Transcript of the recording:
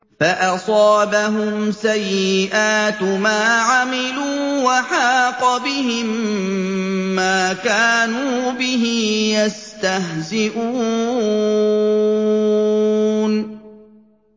فَأَصَابَهُمْ سَيِّئَاتُ مَا عَمِلُوا وَحَاقَ بِهِم مَّا كَانُوا بِهِ يَسْتَهْزِئُونَ